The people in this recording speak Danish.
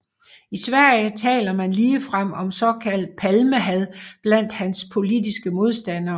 I Sverige taler man ligefrem om såkaldt Palmehad blandt hans politiske modstandere